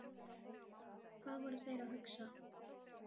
Hvað voru þeir að hugsa?